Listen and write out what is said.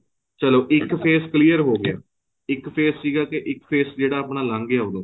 ਚਲੋਂ ਇੱਕ face clear ਹੋ ਗਿਆ ਇੱਕ face ਸੀਗਾ ਕੇ ਇੱਕ face ਜਿਹੜਾ ਆਪਣਾ ਲੱਗ ਗਿਆ ਉਦੋਂ